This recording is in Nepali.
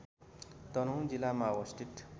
तनहुँ जिल्लामा अवस्थित